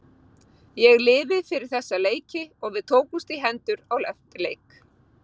Ég lifi fyrir þessa leiki og við tókumst í hendur eftir leik.